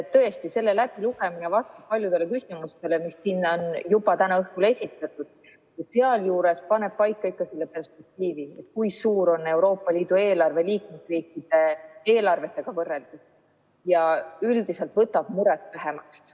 Tõesti, selle läbilugemine annab vastuse paljudele küsimustele, mis siin täna õhtul on esitatud, paneb paika selle perspektiivi, kui suur on Euroopa Liidu eelarve liikmesriikide eelarvetega võrreldes, ja üldiselt võtab muret vähemaks.